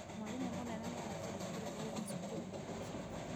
Mwarimũ mũnene nĩaratũnyitire ũgeni cukuru-inĩ